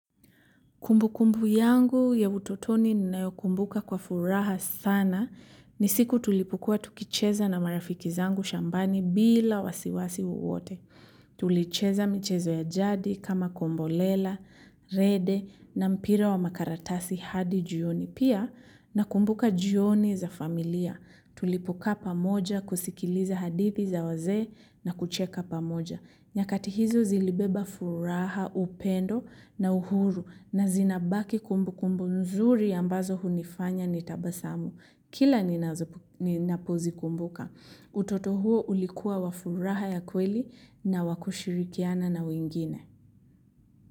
Kumbu kumbu yangu ya utotoni ninayokumbuka kwa furaha sana ni siku tulipokuwa tukicheza na marafiki zangu shambani bila wasiwasi wowote. Tulicheza michezo ya jadi kama kombolela, rede na mpira wa makaratasi hadi jioni pia nakumbuka jioni za familia. Tulipokaa pamoja kusikiliza hadithi za wazee na kucheka pamoja. Nyakati hizo zilibeba furaha, upendo na uhuru na zinabaki kumbu kumbu nzuri ambazo hunifanya nitabasamu. Kila ninapozikumbuka. Utoto huo ulikua wa furaha ya kweli na wa kushirikiana na wengine.